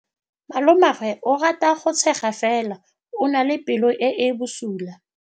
Malomagwe o rata go tshega fela o na le pelo e e bosula.